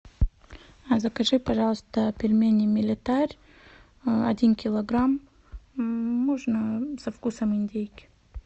закажи пожалуйста пельмени мириталь один килограмм можно со вкусом индейки